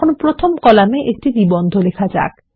এখন প্রথম কলামে একটি নিবন্ধ লেখা যাক